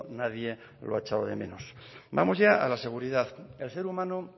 nadie lo ha echado de menos vamos ya a la seguridad el ser humano